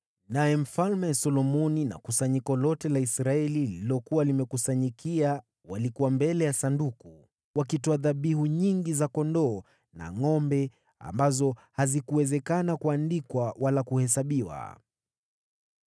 naye Mfalme Solomoni na kusanyiko lote la Israeli waliokusanyika kumzunguka walikuwa mbele ya hilo Sanduku, nao wakatoa dhabihu nyingi za kondoo na ngʼombe ambao idadi yao haikuwezekana kuandikwa au kuhesabiwa.